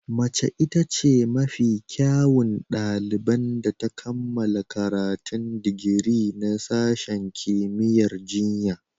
Mace ita ce mafi kyawun ɗaliban da ta kammala karatun digiri na sashen kimiyyar jinya.